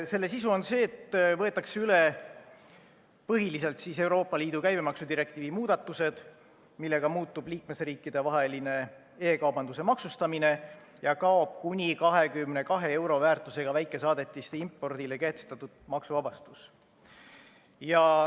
Selle sisu on see, et võetakse üle põhiliselt Euroopa Liidu käibemaksudirektiivi muudatused, millega muutub liikmesriikidevaheline e-kaubanduse maksustamine ja kaob kuni 22 euro väärtusega väikesaadetiste impordile kehtestatud maksuvabastus.